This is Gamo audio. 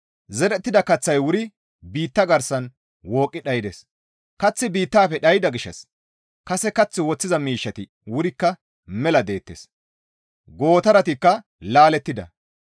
Zerettida kaththay wuri biitta garsan wooqqi dhaydes; kaththi biittafe dhayda gishshas kase kath woththiza miishshati wurikka mela deettes. Gootaratikka laalettida.